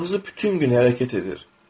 Ağzı bütün gün hərəkət edir.